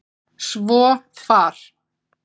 Svo far!